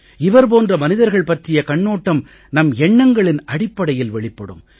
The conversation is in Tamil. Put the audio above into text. இவர் போன்ற மனிதர்கள் பற்றிய கண்ணோட்டம் நம் எண்ணங்களின் அடிப்படையில் வெளிப்படும்